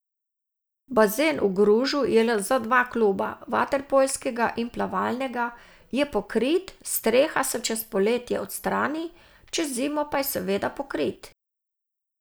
Bazen v Gružu je le za dva kluba, vaterpolskega in plavalnega, je pokrit, streha se čez poletje odstrani, čez zimo pa je seveda pokrit.